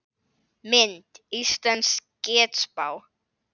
Mynd: Íslensk getspá